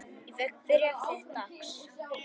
Ég fékk bréf þitt dags.